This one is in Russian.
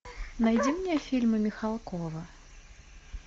найди мне фильмы михалкова